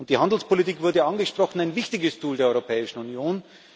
Die Handelspolitik wurde angesprochen ein wichtiges Tool der Europäischen Union.